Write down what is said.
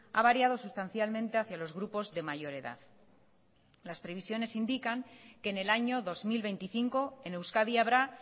a variado sustancialmente hacia los grupos de mayor edad las previsiones indican que en el año dos mil veinticinco en euskadi habrá